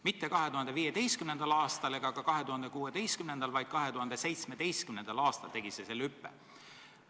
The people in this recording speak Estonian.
Mitte 2015. ega ka 2016. aastal, vaid 2017. aastal tegi see selle hüppe.